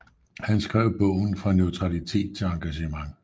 Han skrev bogen Fra neutralitet til engagement